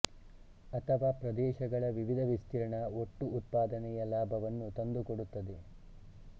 ಅಥವಾ ಪ್ರದೇಶಗಳ ವಿವಿಧ ವಿಸ್ತೀರ್ಣ ಒಟ್ಟು ಉತ್ಪಾದನೆಯ ಲಾಭವನ್ನು ತಂದುಕೊಡುತ್ತದೆ